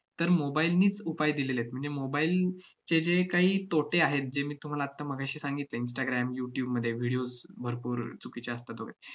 तर mobile नीच उपाय दिलेले आहेत. म्हणजे mobile चे जे काही तोटे आहेत जे मी तुम्हाला आत्ता मगाशी सांगितले instagram youtube मध्ये videos भरपूर चुकीच्या असतात वगैरे,